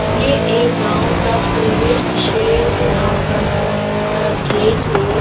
ये एक गांव का प्रवेश निषेध आम रास्ता नहीं का गेट है।